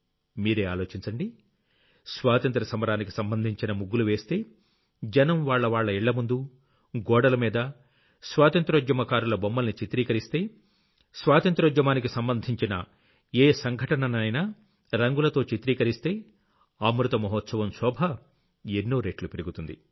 మీరే ఆలోచించండి స్వాతంత్ర్య సమరానికి సంబంధించిన ముగ్గులు వేస్తే జనం వాళ్లవాళ్ల ఇళ్లముందు గోడల మీద స్వాతంత్ర్యోద్యమ కారుల బొమ్మల్ని చిత్రీకరిస్తే స్వాతంత్ర్యోద్యమానికి సంబంధించిన ఏ సంఘటననైనా రంగులతో చిత్రీకరిస్తే అమృత మహోత్సవం శోభ ఎన్నో రెట్లు పెరుగుతుంది